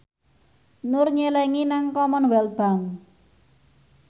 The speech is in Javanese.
Nur nyelengi nang Commonwealth Bank